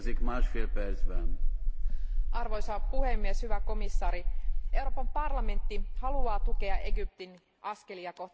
Arvoisa puhemies, hyvä komissaari, Euroopan parlamentti haluaa tukea Egyptin askelia kohti demokratiaa ja ihmisoikeuksia.